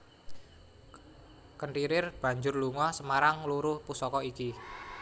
Kenthirir banjur lunga Semarang ngluru pusaka iki